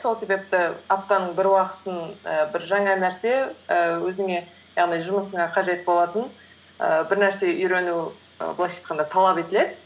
сол себепті аптаның бір уақытын і бір жаңа нәрсе ііі өзіңе яғни жұмысыңа қажет болатын ііі бір нәрсе үйрену і былайша айтқанда талап етіледі